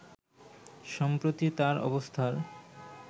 সম্প্রতি তার অবস্থার